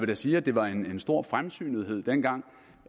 da sige at det var en stor fremsynethed dengang